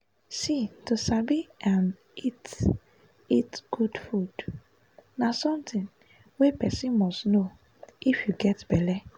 see to sabi n eat eat good food na somethinh wey person must know if you get belle